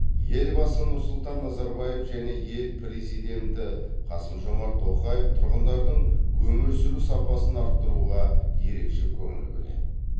елбасы нұрсұлтан назарбаев және ел президенті қасымжомарт тоқаев тұрғындардың өмір сүру сапасын арттыруға ерекше көңіл бөледі